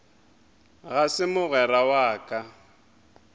ga se mogwera wa ka